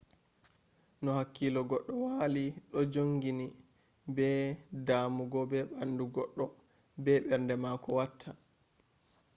no hakkilo goddo wali do jongini be damugo be bandu goddo be berde mako watta